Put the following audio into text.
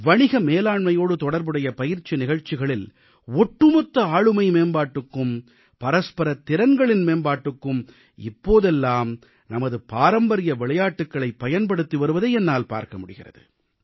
வணிக மேலாண்மையோடு தொடர்புடைய பயிற்சி நிகழ்ச்சிகளில் ஒட்டுமொத்த ஆளுமை மேம்பாட்டுக்கும் பரஸ்பர திறன்களின் மேம்பாட்டுக்கும் இப்போதெல்லாம் நமது பாரம்பரிய விளையாட்டுகளைப் பயன்படுத்தி வருவதை என்னால் பார்க்க முடிகிறது